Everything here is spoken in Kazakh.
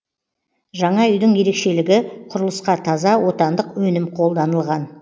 жаңа үйдің ерекшелігі құрылысқа таза отандық өнім қолданылған